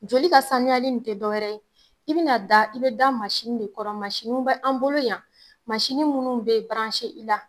Joli ka sanuyali in te dɔ wɛrɛ ye i bɛna da i bɛ da de kɔrɔ masiniw bɛ an bolo yan masini munnu be i la.